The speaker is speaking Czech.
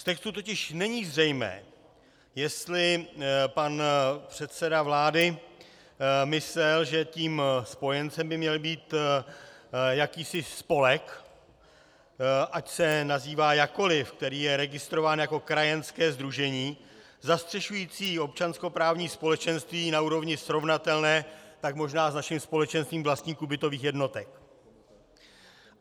Z textu totiž není zřejmé, jestli pan předseda vlády myslel, že tím spojencem by měl být jakýsi spolek, ať se nazývá jakkoli, který je registrován jako krajanské sdružení zastřešující občanskoprávní společenství na úrovni srovnatelné tak možná s naším společenstvím vlastníků bytových jednotek.